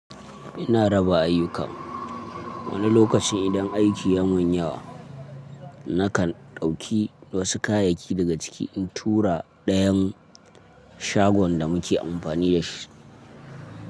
Ina raba ayyuka. Wani lokacin idan aiki ya mun yawa, nakan ɗauki wasu kayayyaki daga ciki in tura dayan shagon da muke amfani da shi.